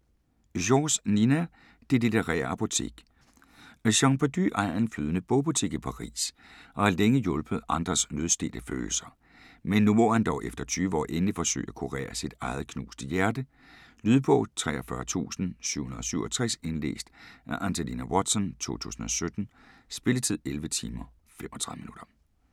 George, Nina: Det litterære apotek Jean Perdu ejer en flydende bogbutik i Paris og har længe hjulpet andres nødstedte følelser, men nu må han dog efter 20 år endelig forsøge at kurere sit eget knuste hjerte. Lydbog 43767 Indlæst af Angelina Watson, 2017. Spilletid: 11 timer, 35 minutter.